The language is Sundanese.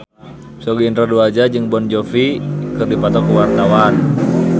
Sogi Indra Duaja jeung Jon Bon Jovi keur dipoto ku wartawan